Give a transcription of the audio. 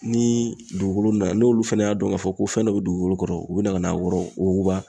Ni dugukolo na n'olu fana y'a dɔn k'a fɔ ko fɛn dɔ bɛ dugukolo kɔrɔ u bɛ na ka n'a wuguba.